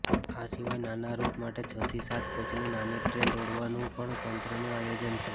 આ સિવાય નાના રૂટ માટે છથી સાત કોચની નાની ટ્રેન દોડાવવાનુ પણ તંત્રનું આયોજન છે